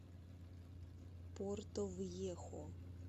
портовьехо